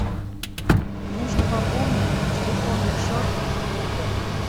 нужно пополнить телефонный счет друга